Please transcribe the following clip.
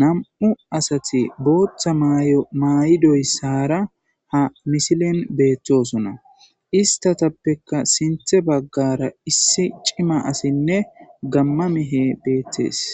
nam'u asati bootha mayo mayidaysara ha misilen betosona istapeka sinthan bagara issi cima asinne gama mehey beetes